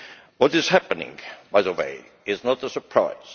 What is happening, by the way, is not a surprise.